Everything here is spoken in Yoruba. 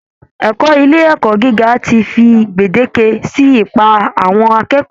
Ẹ̀kọ́ ilé ẹ̀kọ́ gíga ti fi gbèdéke sí ipá àwọn akẹ́kọ̀ọ́